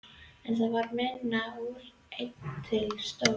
En það varð minna úr en til stóð.